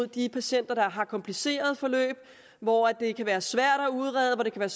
de patienter der har komplicerede forløb hvor det kan være svært at udrede